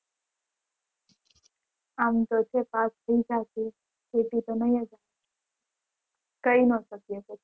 આમ તો છે pass થઈ જઈસ aty તો ની કહી ન શકી કઈ